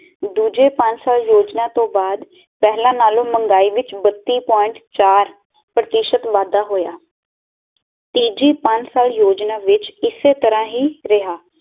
ਦੂਜੇ ਪੰਜ ਸਾਲ ਯੋਜਨਾ ਤੋਂ ਬਾਦ ਪਹਿਲਾ ਨਾਲੋਂ ਮਹਿੰਗਾਈ ਵਿਚ ਬਤੀ ਪੁਆਇੰਟ ਚਾਰ ਪ੍ਰਤੀਸ਼ਤ ਵਾਧਾ ਹੋਇਆ ਤੀਜੀ ਪੰਜ ਸਾਲ ਯੋਜਨਾ ਵਿਚ ਇਸੇ ਤਰਾਂ ਹੀ ਰਿਹਾ